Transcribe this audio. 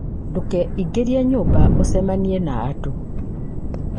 Ndũkeingĩrie nyũmba, ũcemanie na andũ.